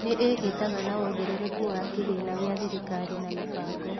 Nĩ ĩĩhĩtaga na wongerereku wa Kĩgĩĩna gĩa Thirikari na Mĩbango